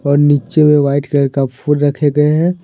और नीचे में व्हाइट कलर का फूल रखे हुए है।